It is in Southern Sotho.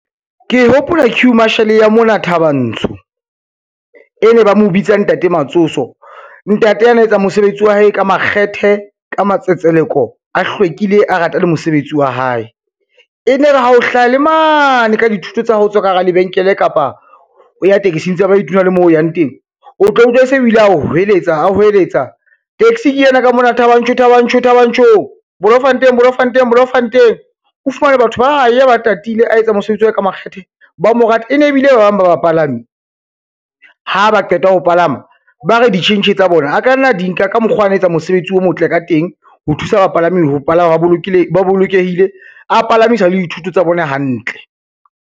Ke hopola queue marshall ya mona Thabantsho, e ne ba mo bitsa ntate Matsotso. Ntate ana etsa mosebetsi wa hae ka makgethe, ka matsetseleko, a hlwekile, a rata le mosebetsi wa hae. E ne re ha o hlaha le mane ka dithoto tsa hao, o tswa ka hara lebenkele kapa o ya taxing tsa baeti le moo o yang teng, o tla utlwa se bile ao hweletsa a hweletsa, taxi le yena ka mona Thabanchu Thabanchu, Thabanchu, Bolomfanteng, Bolomfanteng, Bolonfanteng, o fumane batho ba ya ba tatile a etsa mosebetsi wa hae ka makgethe ba mo rata, ene bile ba bang ba bapalami ha ba qeta ho palama ba re ditjhentjhe tsa bona a ka nna di nka ka mokgo ana etsa mosebetsi o motle ka teng, ho thusa bapalami ho palama ba bolokehile, a palamisa le dithoto tsa bona hantle.